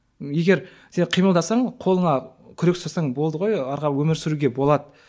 егер сен қимылдасаң қолыңа күрек ұстасаң болды ғой әрі қарай өмір сүруге болады